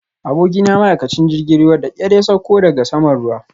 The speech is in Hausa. Abokina ma'aikacin jirgin ruwa da ƙyar ya sauko daga saman ruwan